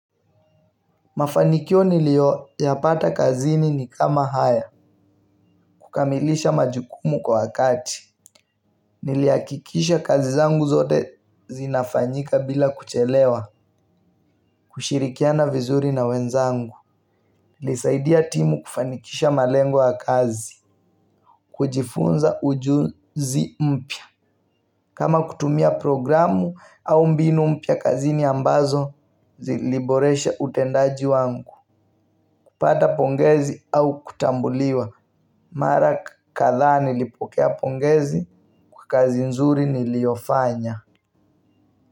Mafanikio nilio yapata kazini ni kama haya. Kukamilisha majukumu kwa wakati. Niliakikisha kazi zangu zote zinafanyika bila kuchelewa. Kushirikiana vizuri na wenzangu ili saidia timu kufanikisha malengo ya kazi. Kujifunza ujuzi mpya kama kutumia programu au mbinu mpya kazini ambazo ziliboresha utendaji wangu. Kupata pongezi au kutambuliwa. Mara kadhaa nilipokea pongezi kwa kazi nzuri niliofanya.